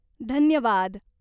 धन्यवाद.